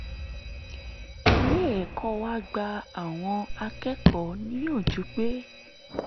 ilé ẹ̀kọ́ wa gba àwọn akẹ́kọ̀ọ́ níyànjú pé